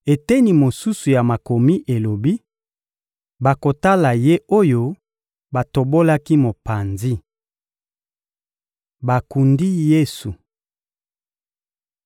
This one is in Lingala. Eteni mosusu ya Makomi elobi: «Bakotala Ye oyo batobolaki mopanzi.» Bakundi Yesu (Mat 27.57-61; Mlk 15.42-47; Lk 23.50-56)